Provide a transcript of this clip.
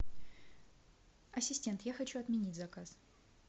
ассистент я хочу отменить заказ